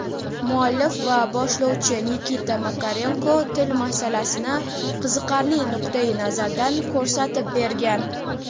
Muallif va boshlovchi Nikita Makarenko til masalasini qiziqarli nuqtai-nazardan ko‘rsatib bergan.